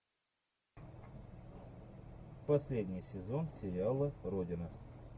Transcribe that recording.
последний сезон сериала родина